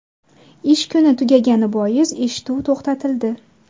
Ish kuni tugagani bois eshituv to‘xtatildi.